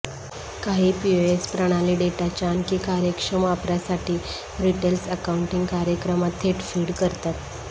काही पीओएस प्रणाली डेटाच्या आणखी कार्यक्षम वापरासाठी रिटेलर्स अकाउंटिंग कार्यक्रमात थेट फीड करतात